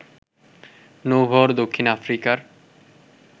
নৌবহর দক্ষিণ আফ্রিকার